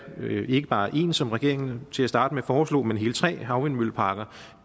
ikke bare en som regeringen til at starte med foreslog men hele tre havvindmølleparker